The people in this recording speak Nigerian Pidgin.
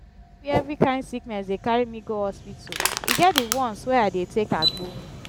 no be every kain sickness dey carry me go hospital e get di ones wey i dey take agbo.